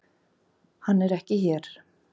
Hann er ekki hér.